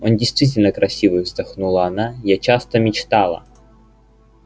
он действительно красивый вздохнула она я часто мечтала